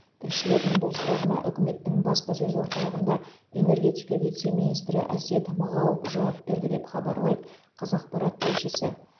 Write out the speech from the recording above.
тілшілердің бұл сұрағына үкіметтің баспасөз орталығында энергетика вице министрі әсет мағауов жауап берді деп хабарлайды қазақпарат тілшісі